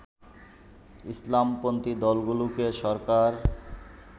ইসলামপন্থী দলগুলোকে সরকার